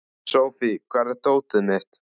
Sophie, hvar er dótið mitt?